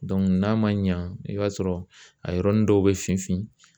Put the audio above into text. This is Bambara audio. n'a ma ɲa , i b'a sɔrɔ a yɔrɔnin dɔw bɛ fin fin.